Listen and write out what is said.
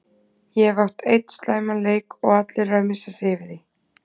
Ég hef átt einn slæman leik og allir eru að missa sig yfir því.